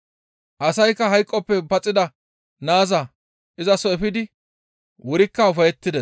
Asaykka hayqoppe paxida naaza izaso efidi wurikka ufayettides.